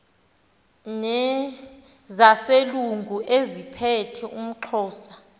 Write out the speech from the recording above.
nezaselungu eziphethe umxhosa